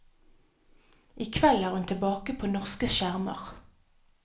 I kveld er hun tilbake på norske skjermer.